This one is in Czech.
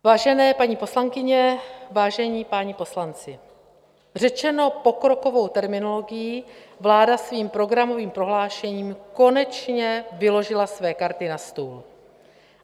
Vážené paní poslankyně, vážení páni poslanci, řečeno pokrokovou terminologií, vláda svým programovým prohlášením konečně vyložila své karty na stůl.